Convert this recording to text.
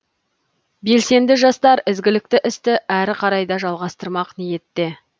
белсенді жастар ізгілікті істі әрі қарай да жалғастырмақ ниетте